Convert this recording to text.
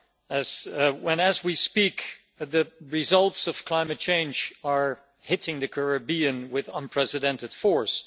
As we speak, the results of climate change are hitting the Caribbean with unprecedented force.